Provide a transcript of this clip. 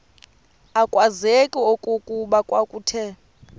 akwazeki okokuba kwakuthe